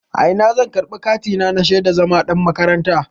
A ina zan karɓi katina na shaidan zama ɗan makaranta?